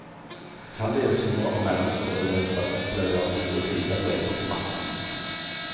Utallige små og mellomstore bedrifter opplever gode tider på eksportmarkedene.